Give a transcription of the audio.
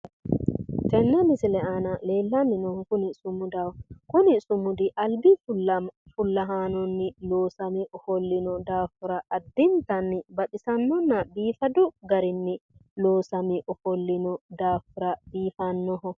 Tenne misile aana leellanni noohu kuni sumudaho. Kuni sumudi albi fullahaannonni loosame ofollino daafira addintanni baxisannonna biifadu garinni loosame ofollino daafira biifannoho.